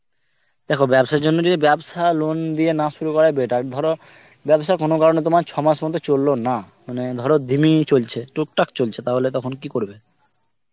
দেখো ব্যবসার জন্য যদি ব্যবসা loan দিয়ে না শুরু করে better ধরো ব্যবসা কোনো কারণে তোমার ছ মাস মতো চললো না, মানে ধরো ধিমেই চলছে. টুকটাক চলছে. তাহলে তখন কি করবে?